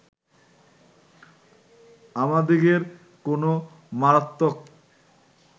আমাদিগের কোন মারাত্মক